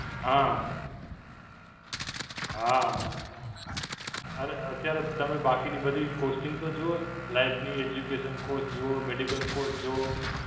હાં, હાં, અરે અત્યારે તમે બાકીની બધી costing તો જુઓ, life ની, educate cost જુઓ, medical cost જુઓ.